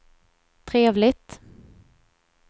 trevligt